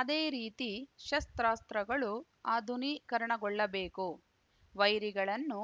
ಅದೇ ರೀತಿ ಶಸ್ತ್ರಾಸ್ತ್ರಗಳು ಆಧುನಿಕರಣಗೊಳ್ಳಬೇಕು ವೈರಿಗಳನ್ನು